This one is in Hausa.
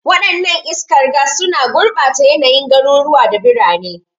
Wadannan iskar gas suna gurbata yanayin garuruwa da birane.